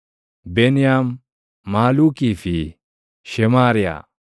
Beniyaam, Maluukii fi Shemaariyaa.